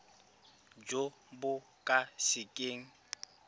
jo bo ka se keng